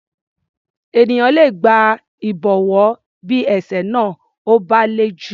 Ènìyàn le gba ìgbọ̀wọ́ bí ẹ̀ṣẹ̀ náà ò bá le jù.